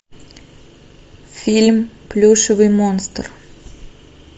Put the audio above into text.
фильм плюшевый монстр